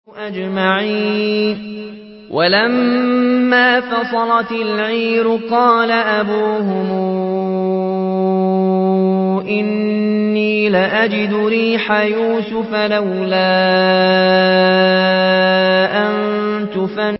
وَلَمَّا فَصَلَتِ الْعِيرُ قَالَ أَبُوهُمْ إِنِّي لَأَجِدُ رِيحَ يُوسُفَ ۖ لَوْلَا أَن تُفَنِّدُونِ